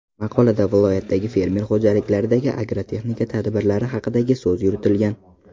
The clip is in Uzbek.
Maqolada viloyatdagi fermer xo‘jaliklaridagi agrotexnika tadbirlari haqidagi so‘z yuritilgan.